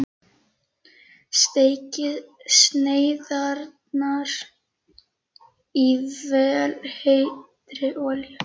Steikið sneiðarnar í vel heitri olíu.